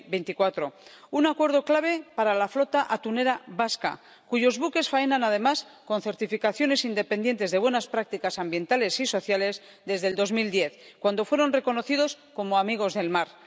2024 un acuerdo clave para la flota atunera vasca, cuyos buques faenan además con certificaciones independientes de buenas prácticas ambientales y sociales desde 2010, cuando fueron reconocidos como amigos del mar.